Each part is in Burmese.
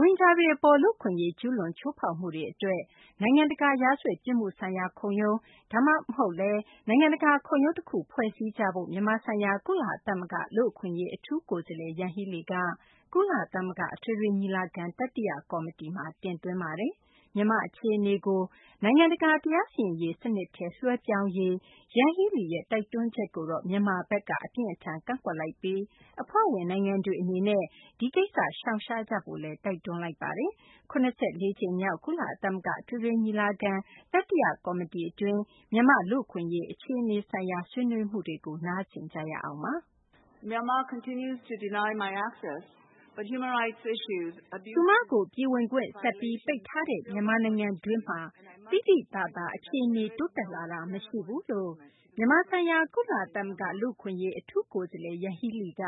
ရိုဟင်ဂျာတွေ အပေါ် လူ့အခွင့်အရေး ကျူးလွန် ချိုးဖောက်မှုတွေ အတွက် နိုင်ငံတကာ ရာဇဝတ် ပြစ်မှုဆိုင်ရာ ခုံရုံး ဒါမှမဟုတ်လည်း နိုင်ငံတကာ ခုံရုံးတခု ဖွဲ့စည်းကြဖို့ မြန်မာဆိုင်ရာ ကုလသမဂ္ဂ လူ့အခွင့်အရေး အထူးကိုယ်စားလှယ် ယန်ဟီးလီက ကုလသမဂ္ဂ အထွေထွေ ညီလာခံ တတိယ ကော်မတီမှာ တင်သွင်းသွားပါတယ်။ မြန်မာ့ အခြေအနေကို နိုင်ငံတကာ တရားစီရင်ရေး စနစ်ထဲ လွှဲပြောင်းရေး ယန်ဟီးလီရဲ့ တိုက်တွန်းချက်ကို မြန်မာဘက်က အပြင်းအထန် ကန့်ကွက်လိုက်ပြီး အဖွဲ့ဝင် နိုင်ငံတွေ အနေနဲ့ ဒီကိစ္စ ရှောင်ရှား ကြဖို့ တိုက်တွန်းသွားပါတယ်။ ၇၄ ကြိမ်မြောက် ကုလသမဂ္ဂ အထွေထွေ ညီလာခံရဲ့ တတိယ ကော်မတီတွင်း မြန်မာ့လူ့အခွင့်အရေး အခြေအနေဆိုင်ရာ ဆွေးနွေးမှုတွေကို မသိင်္ဂ ီထိုက် စုစည်းတင်ပြထားပါတယ်။ သူမကို ပြည်ဝင်ခွင့် ဆက်ပြီး ပိတ်ထားတဲ့ မြန်မာနိုင်ငံတွင်း သိသိသာသာ အခြေအနေ တိုးတက်လာတာ မရှိဘူးလို့ မြန်မာဆိုင်ရာ ကုလသမဂ္ဂ လူအခွင့်အရေး အထူးကိုယ်စားလှယ် Yanghee Lee က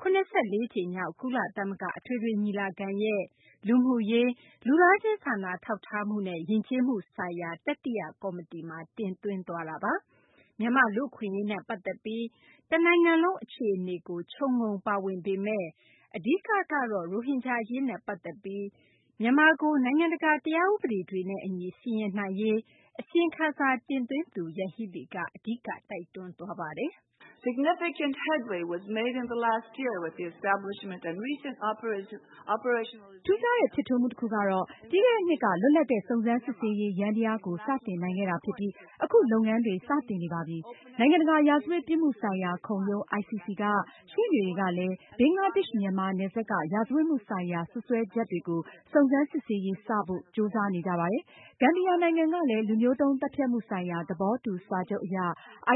၇၄ ကြိမ်မြောက် ကုလသမဂ္ဂ အထွေထွေ ညီလာခံရဲ့ လူမှုရေး၊ လူသားချင်း စာနာထောက်ထားမှုနဲ့ ယဉ်ကျေးမှုဆိုင်ရာ တတိယ ကော်မတီမှာ တင်သွင်းသွားတာပါ။ မြန်မာ့ လူ့အခွင့်အရေးနဲ့ ပတ်သက်ပြီး တနိုင်ငံလုံး အခြေအနေကို ခြုံငုံ ပါဝင်ပေမယ့် အဓိက ကတော့ ရိုဟင်ဂျာ အရေးနဲ့ ပတ်သက်ပြီး မြန်မာကို နိုင်ငံတကာ တရားဥပဒေတွေနဲ့ အညီ စီရင်နိုင်ရေး မြန်မာဆိုင်ရာ အစီရင်ခံစာ တင်သွင်းသူ ယန်ဟီးလီက အဓိက တိုက်တွန်းသွားပါတယ်။ "ထူးခြားတဲ့ ဖြစ်ထွန်းမှုတခုကတော့ ပြီးခဲ့တဲ့နှစ်က လွတ်လပ်တဲ့ စုံစမ်းစစ်ဆေးရေး ယန္တရားကို စတင်နိုင်ခဲ့တာ ဖြစ်ပြီး အခု လုပ်ငန်းတွေ စတင်နေပါပြီ။ နိုင်ငံတကာ ရာဇဝတ်ပြစ်မှုဆိုင်ရာ ခုံရုံး ICC က ရှေ့နေတွေကလည်း ဘင်္ဂလားဒေရှ့် မြန်မာ နယ်စပ်က ရာဇဝတ်မှုဆိုင်ရာ စွပ်စွဲချက်တွေကို စုံစမ်းစစ်ဆေးရေး စဖို့ ကြိုးစားနေကြပါတယ်။ ဂမ်ဘီယာ နိုင်ငံကလည်း လူမျိုးတုံးသတ်ဖြတ်မှု ဆိုင်ရာ သဘောတူ စာချုပ်အရ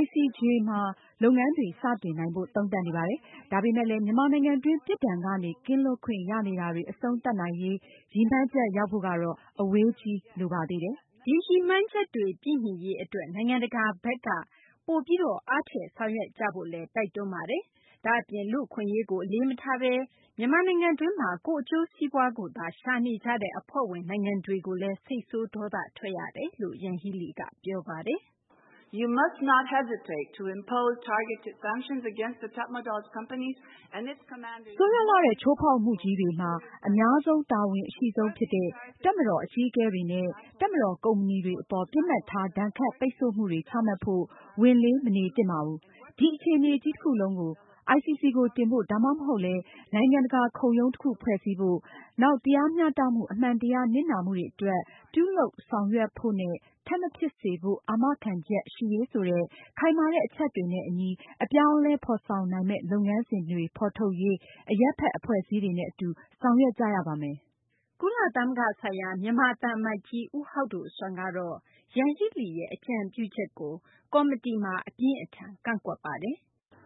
ICJ မှာ လုပ်ငန်းတွေ စတင်နိုင်ဖို့ သုံးသပ်နေပါတယ်။ ဒါပေမယ့်လည်း မြန်မာနိုင်ငံတွင်း ပြစ်ဒဏ်ကနေ ကင်းလွတ်ခွင့် ရနေတာတွေ အဆုံးသတ်နိုင်ရေး ရည်မှန်းချက် ရောက်ဖို့ကတော့ အဝေးကြီး လိုပါသေးတယ်။" ဒီရည်မှန်းချက် ပြည့်မှီရေး အတွက် နိုင်ငံတကာ အသိုင်းအဝိုင်းက ပိုပြီးတော့ အားထည့်ဆောက်ရွက် ဖို့လည်း တိုက်တွန်းပါတယ်။ ဒါ့အပြင် လူ့အခွင့်အရေးကို အလေးမထားဘဲ မြန်မာနိုင်ငံတွင်း ကိုယ့် အကျိုးစီးပွားကိုသာ ရှာနေကြတဲ့ အဖွဲ့ဝင် နိုင်ငံတွေကို စိတ်ဆိုး ဒေါသ ထွက်ရတယ်လို့ ယန်ဟီးလီက ပြောပါတယ်။ “ဆိုးရွားလှတဲ့ ချိုးဖောက်မှုကြီးတွေမှာ အများဆုံးတာဝန်အရှိဆုံး ဖြစ်တဲ့ တပ်မတော် အကြီးအကဲတွေနဲ့ တပ်မတော် ကုမ္ပဏီတွေ အပေါ် ပစ်မှတ်ထား ဒဏ်ခတ် ပိတ်ဆို့မှုတွေ ချမှတ်ဖို့ ဝန်လေး မနေသင့်ပါဘူး။ ဒီအခြေအနေကြီး တခုလုံးကိုလည်း ICC ကို တင်ဖို့ ဒါမှမဟုတ်လည်း နိုင်ငံတကာ ခုံရုံးတခု ဖွဲ့စည်းဖို့၊ နောက် တရားမျှတမှု၊ အမှန်တရား၊ နစ်နာမှုတွေ အတွက် ပြုလုပ်ဆောင်ရွက်ဖို့နဲ့ ထပ်မဖြစ်စေဖို့ အာမခံချက် ရှိရေးဆိုတဲ့ ခိုင်မာတဲ့ အချက်တွေနဲ့ အညီ အပြောင်းအလဲ ဖော်ဆောင်နိုင်မယ့် လုပ်ငန်းစဉ်တွေ ဖော်ထုတ်ရေး အရပ်ဘက် အဖွဲ့အစည်းတွေနဲ့ အတူ ဆောင်ရွက်ကြရပါမယ်။" ကုလသမဂ္ဂ ဆိုင်ရာ မြန်မာ သံအမတ်ကြီး ဦးဟောက်ဒိုဆွမ်းကတော့ ယန်ဟီးလီရဲ့ အကြံပြုချက်ကို ကော်မတီမှာ အပြင်းအထန် ကန့်ကွက်ပါတယ်။ "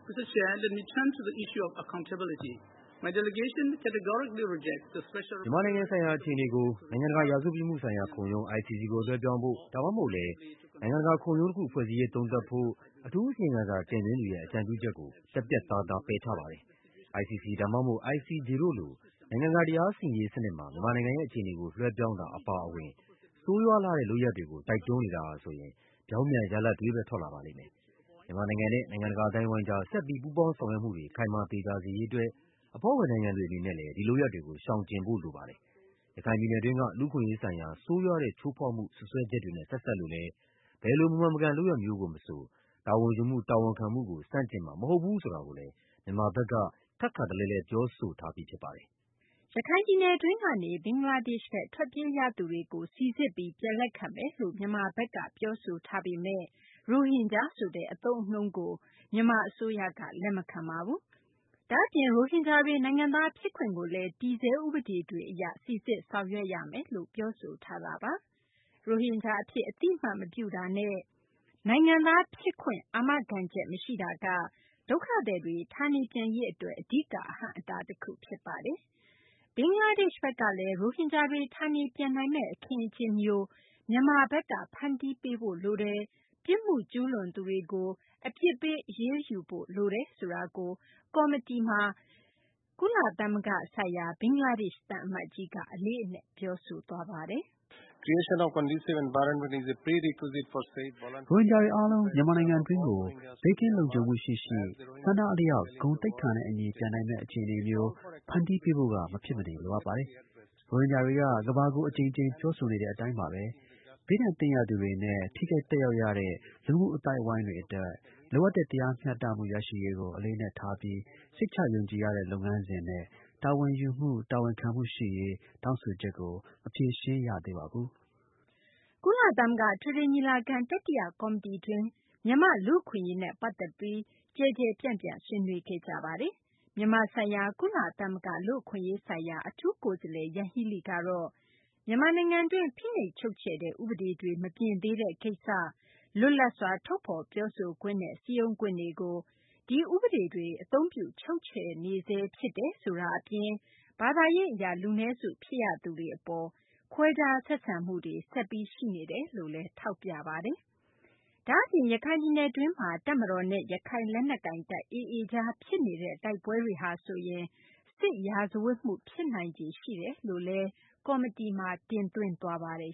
မြန်မာနိုင်ငံဆိုင်ရာ အခြေအနေကို နိုင်ငံတကာ ရာဇဝတ်ပြစ်မှုဆိုင်ရာ ခုံရုံး ICC ကို လွှဲပြောင်းဖို့ ဒါမှမဟုတ်လည်း နိုင်ငံတကာ ခုံရုံးတခု ဖွဲ့စည်းရေး သုံးသပ်ဖို့ အထူးအစီရင်ခံစာ တင်သွင်းသူရဲ့ အကြံပြုချက်ကို ပြတ်ပြတ်သားသား ပယ်ချပါတယ်။ ICC ဒါမှမဟုတ် ICJ တို့လို နိုင်ငံတကာ တရားစီရင်ရေး စနစ်မှာ မြန်မာနိုင်ငံရဲ့ အခြေအနေကို လွှဲပြောင်းတာ အပါအဝင် ဆိုးရွားလှတဲ့ လုပ်ရပ်တွေကို တိုက်တွန်းနေတာဟာဆိုရင် ပြောင်းပြန် ရလဒ်တွေဘဲ ထွက်လာပါလိမ့်မယ်။ မြန်မာနိုင်ငံနဲ့ နိုင်ငံတကာ အသိုင်းအဝိုင်းကြား ဆက်လက်ပြီး ပူးပေါင်းဆောင်ရွက်မှုတွေ ခိုင်မာ သေချာစေရေး အတွက် အဖွဲ့ဝင် နိုင်ငံတွေ အနေနဲ့လည်း ဒီလုပ်ရပ်တွေကို ရှောင်ကျဉ်ဖို့ လိုအပ်ပါတယ်။ ရခိုင်ပြည်နယ်တွင်းက လူ့အခွင့်အရေးဆိုင်ရာ ဆိုးရွားတဲ့ ချိုးဖောက်မှု စွပ်စွဲချက်တွေနဲ့ ဆက်စပ်လို့လည်း ဘယ်လို မမှန်မကန် လုပ်ရပ်မျိုးကို မဆို တာဝန်ယူမှု တာဝန်ခံမှုကို ဆန့်ကျင်မှာ မဟုတ်ဘူးဆိုတာကိုလည်း မြန်မာဘက်က ထပ်ခါတလဲလဲ ပြောဆိုထားပြီး ဖြစ်ပါတယ်။" ရခိုင်ပြည်နယ်တွင်းကနေ ဘင်္ဂလားဒေရှ့်ဘက် ထွက်ပြေးရသူတွေကို စိစစ်ပြီး ပြန်လက်ခံမယ်လို့ မြန်မာဘက်က ပြောဆိုထားပေမယ့် ရိုဟင်ဂျာ ဆိုတဲ့ အသုံးအနှုန်းကိုတော့ မြန်မာ အစိုးရက လက်မခံပါဘူး။ ဒါ့အပြင် ရိုဟင်ဂျာတွေ နိုင်ငံသား ဖြစ်ခွင့်ကိုလည်း တည်ဆဲ ဥပဒေတွေ အရ စိစစ် ဆောင်ရွက်ရမယ်လို့ မြန်မာဘက်က ပြောဆိုထားတာပါ။ ရိုဟင်ဂျာ အဖြစ် အသိအမှတ်မပြုတာနဲ့ နိုင်ငံသား အာမခံချက် မရှိတာက ဒုက္ခသည်တွေ ဌာနေပြန်ရေး အတွက် အဓိက အဟန့်အတား တခု ဖြစ်နေတာပါ။ ဘင်္ဂလားဒေရှ့်ဘက်ကလည်း ရိုဟင်ဂျာတွေ ဌာနေပြန်နိုင်မယ့် အခင်းအကျင်းမျိုး မြန်မာဘက်က ဖန်တီးပေးဖို့ လိုတယ်၊ ပြစ်မှုကျူးလွန်သူတွေကို အပြစ်ပေး အရေးယူဖို့ လိုတယ်ဆိုတာကို ကော်မတီမှာ ကုလသမဂ္ဂ ဆိုင်ရာ ဘင်္ဂလားဒေရှ့် သံအမတ်ကြီးက အလေးအနက် ပြောဆိုခဲ့ပါတယ်။ "ရိုဟင်ဂျာတွေ အားလုံး မြန်မာနိုင်ငံတွင်းကို ဘေးကင်းလုံခြုံမှု ရှိရှိ ဆန္ဒအလျောက် ဂုဏ်သိက္ခာနဲ့ အညီ ပြန်နိုင်မယ့် အခြေအနေမျိုး ဖန်တီးပေးဖို့က မဖြစ်မနေ လိုအပ်ပါတယ်။ ရိုဟင်ဂျာတွေက ကမ္ဘာကို အကြိမ်ကြိမ် ပြောဆိုနေတဲ့ အတိုင်းပါဘဲ ဘေးဒဏ်သင့်ရသူတွေနဲ့ ထိခိုက်သက်ရောက်ရတဲ့ လူမှုအသိုင်းအဝိုင်းတွေ အတွက် လိုအပ်တဲ့ တရားမျှတမှု ရရှိရေးကို အလေးအနက်ထားပြီး စိတ်ချယုံကြည်ရတဲ့ လုပ်ငန်းစဉ်နဲ့ တာဝန်ယူမှု တာဝန်ခံမှုရှိရေး တောင်းဆိုချက်ကို မဖြေရှင်း ရသေးပါဘူး။" ကုလသမဂ္ဂ အထွေထွေ ညီလာခံ တတိယ ကော်မတီတွင်းမှာတော့ မြန်မာ့လူ့အခွင့်အရေးနဲ့ ပတ်သက်ပြီး ကျယ်ကျယ်ပြန့်ပြန့် ဆွေးနွေးခဲ့ကြတာပါ။ မြန်မာဆိုင်ရာ ကုလသမဂ္ဂ လူ့အခွင့်အရေးဆိုင်ရာ အထူးကိုယ်စားလှယ် ယန်ဟီးလီကတော့ မြန်မာနိုင်ငံတွင်း ဖိနှိပ်ချုပ်ချယ်တဲ့ ဥပဒေတွေ မပြင်သေးတဲ့ ကိစ္စ၊ လွတ်လပ်စွာ ထုတ်ဖော် ပြောဆိုခွင့်နဲ့ စည်းရုံးခွင့်တွေကို ဒီဥပဒေတွေ အသုံးပြု ချုပ်ချယ်နေဆဲ ဖြစ်တယ်ဆိုတာ အပြင် ဘာသာရေး အရ လူနည်းစု ဖြစ်နေရသူတွေ အပေါ် ခွဲခြား ဆက်ဆံမှုတွေ ဆက်ရှိနေဆဲ ဖြစ်တယ်လို့လည်း ထောက်ပြပါတယ်။ ဒါ့အပြင် ရခိုင်ပြည်နယ် တွင်းမှာ တပ်မတော်နဲ့ ရခိုင်လက်နက်ကိုင်တပ် AA ကြား ဖြစ်နေတဲ့ တိုက်ပွဲတွေက စစ်ရာဇဝတ်မှု ဖြစ်နိုင်ခြေ ရှိနေတယ်လို့လည်း ကော်မတီမှာ တင်သွင်းသွားပါတယ်